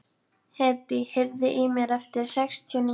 Hedí, heyrðu í mér eftir sextíu og níu mínútur.